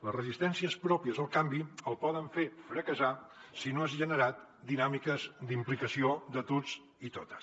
les resistències pròpies al canvi el poden fer fracassar si no has generat dinàmiques d’implicació de tots i totes